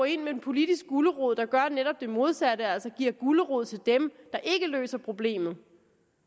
ind med en politisk gulerod der gør netop det modsatte altså giver en gulerod til dem der ikke løser problemet